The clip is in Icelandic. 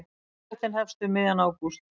Úttektin hefst um miðjan ágúst.